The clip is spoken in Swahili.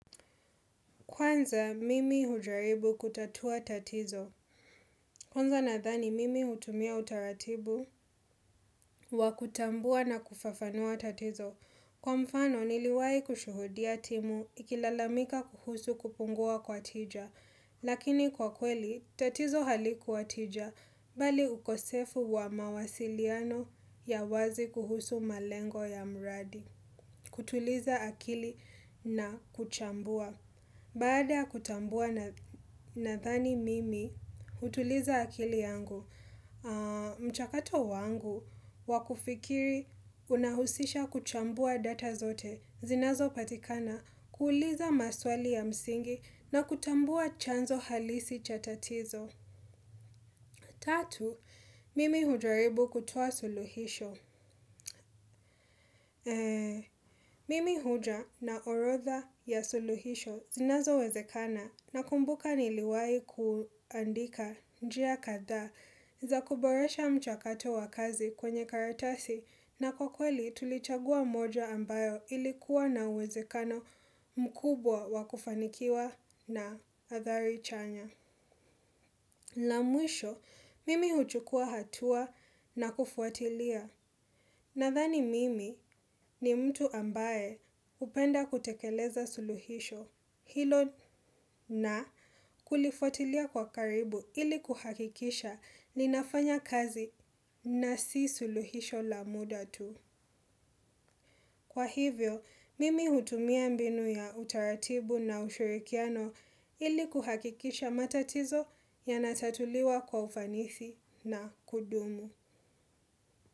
Kwanza, mimi hujaribu kutatua tatizo. Kwanza nadhani, mimi hutumia utaratibu wa kutambua na kufafanua tatizo. Kwa mfano, niliwahi kushuhudia timu ikilalamika kuhusu kupungua kwa tija. Lakini kwa kweli, tatizo halikuwa tija, bali ukosefu wa mawasiliano ya wazi kuhusu malengo ya mradi. Kutuliza akili na kuchambua. Baada ya kutambua nadhani mimi, hutuliza akili yangu, mchakato wangu, wakufikiri unahusisha kuchambua data zote, zinazo patikana, kuuliza maswali ya msingi na kutambua chanzo halisi cha tatizo. Tatu, mimi hujaribu kutoa suluhisho. Mimi huja na orodha ya suluhisho zinazo wezekana nakumbuka niliwai kuandika njia kadha za kuboresha mchakato wakazi kwenye karatasi na kwa kweli tulichagua moja ambayo ilikuwa na uwezekano mkubwa wakufanikiwa na hadhari chanya. La mwisho, mimi huchukua hatua na kufuatilia, nadhani mimi ni mtu ambae hupenda kutekeleza suluhisho, hilo na kulifuatilia kwa karibu ili kuhakikisha lina fanya kazi na si suluhisho la muda tu. Kwa hivyo, mimi hutumia mbinu ya utaratibu na ushirikiano ili kuhakikisha matatizo yanatatuliwa kwa ufanisi na kudumu.